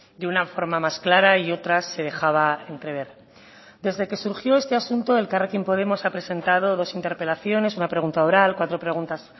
de una forma más clara y otras se dejaba entrever desde que surgió este asunto elkarrekin podemos ha presentado dos interpelaciones una pregunta oral cuatro preguntas